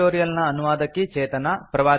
ಈ ಟ್ಯುಟೋರಿಯಲ್ ನ ಅನುವಾದಕಿ ಚೇತನಾ